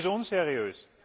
Das ist unseriös!